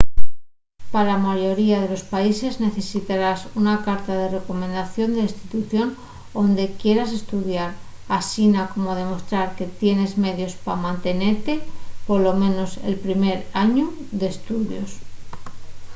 pa la mayoría de los países necesitarás una carta de recomendación de la institución onde quieras estudiar asina como demostrar que tienes medios pa mantenete polo menos el primer añu d'estudios